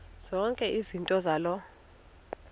zonke izinto zaloo